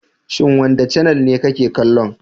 Shin wanda canel ne ka ke kallo?